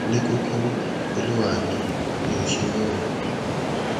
ní kúkúrú olúwa mi mi ò ṣe mọ o